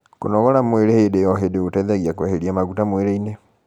kũnogora mwĩrĩ hĩndĩ o hĩndĩ gũteithagia kueherĩa maguta mwĩrĩ-ini